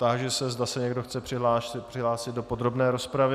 Táži se, zda se někdo chce přihlásit do podrobné rozpravy.